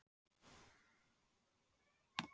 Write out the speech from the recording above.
Finnur þú sjálfur mikinn mun á úrvals og fyrstu deildinni?